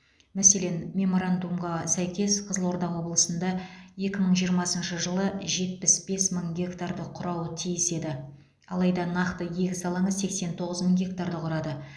мәселен меморандумға сәйкес қызылорда облысында екі мың жиырмасыншы жылы жетпіс бес мың гектарды құрауы тиіс еді алайда нақты егіс алаңы сексен тоғыз мың гектарды құрады